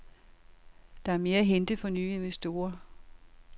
Der er mere at hente for nye investorer.